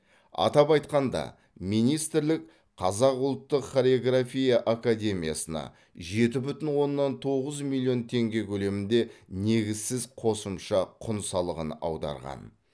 атап айтқанда министрлік қазақ ұлттық хореография академиясына жеті бүтін оннан тоғыз миллион теңге көлемінде негізсіз қосымша құн салығын аударған